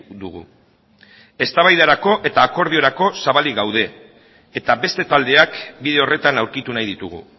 dugu eztabaidarako eta akordiorako zabalik gaude eta beste taldeak bide horretan aurkitu nahi ditugu